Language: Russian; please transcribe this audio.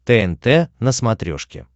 тнт на смотрешке